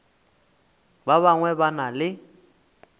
ba bangwe ba na le